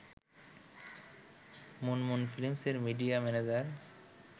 monsoon ফিল্মসের media manager